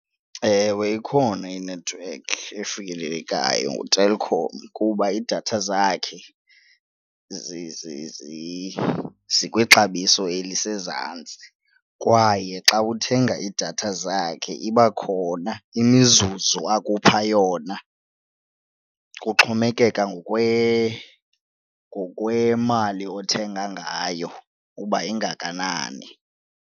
Ewe, ikhona inethiwekhi efikelelekayo, nguTelkom kuba iidatha zakhe zikwixabiso elisezantsi kwaye xa uthenga iidatha zakhe iba khona imizuzu akupha yona, kuxhomekeka ngokwemali othenga ngayo ukuba ingakanani.